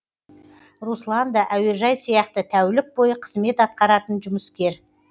руслан да әуежай сияқты тәулік бойы қызмет атқаратын жұмыскер